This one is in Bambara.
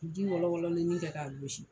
Ji wɔlɔwɔlɔlennin kɛ k'a gosi.